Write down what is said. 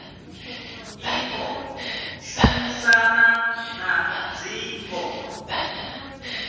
i ḓo shumisana na dzingo